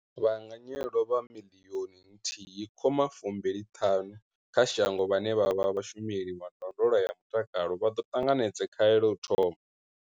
Vhaanganyelwa vha 1.25 miḽioni kha shango vhane vha vha vhashumeli vha ndondolo ya mutakalo vha ḓo ṱanganedza khaelo u thoma.